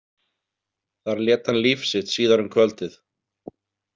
Þar lét hann líf sitt síðar um kvöldið.